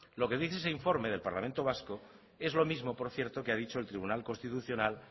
lo que dice ese informe del parlamento vasco es lo mismo por cierto que ha dicho el tribunal constitucional